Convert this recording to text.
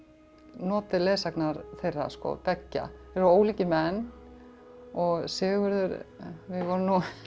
notið leiðsagnar þeirra beggja ólíkir menn og Sigurður við vorum